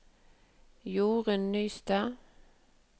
Jorun Nystad